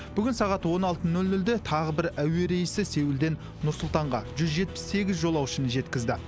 бүгін сағат он алты нөл нөлде тағы бір әуе рейсі сеулден нұр сұлтанға жүз жетпіс сегіз жолаушыны жеткізді